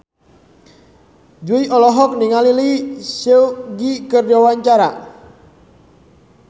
Jui olohok ningali Lee Seung Gi keur diwawancara